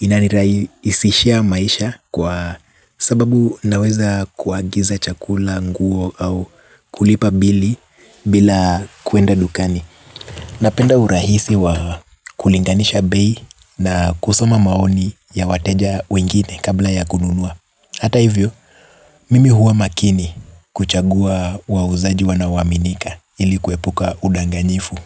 Inanirai isishia maisha kwa sababu naweza kuagiza chakula nguo au kulipa bili bila kuenda dukani. Napenda urahisi wa kulinganisha bei na kusoma maoni ya wateja wengine kabla ya kununua. Hata hivyo, mimi huwa makini kuchagua wauzaji wanaoaminika ili kuepuka udanganyifu.